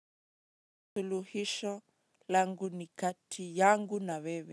Suluhisho langu ni kati yangu na wewe.